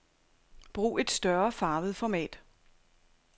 Brug et større farvet format.